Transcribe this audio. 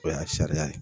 O y'a sariya ye